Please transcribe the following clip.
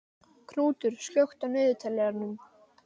Knútur, slökktu á niðurteljaranum.